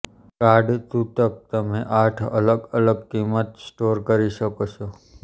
card તૂતક તમે આઠ અલગ અલગ કિંમત સ્ટોર કરી શકો છો